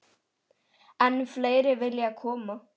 Enn fleiri vilja koma.